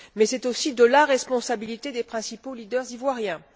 Mais c'est aussi la responsabilité des principaux leaders ivoiriens.